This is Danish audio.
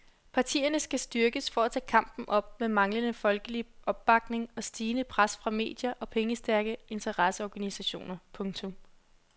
Partierne skal styrkes for at tage kampen op med manglende folkelig opbakning og stigende pres fra medier og pengestærke interesseorganisationer. punktum